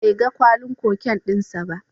Bai ga kwalin cocaine din sa ba.